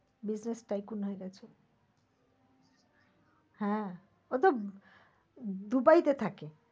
business tycoon হয়ে গেছে। হ্যাঁ ও তো দুবাইতে থাকে।